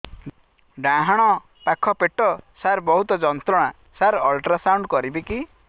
ଡାହାଣ ପାଖ ପେଟ ସାର ବହୁତ ଯନ୍ତ୍ରଣା ସାର ଅଲଟ୍ରାସାଉଣ୍ଡ କରିବି କି